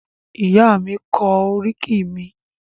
Ìyá mi kọ oríkì mi.